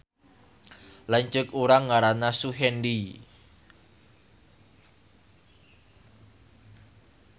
Lanceuk urang ngaranna Suhendi